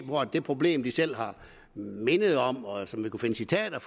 det problem som de selv har mindet om og som vi kan finde citater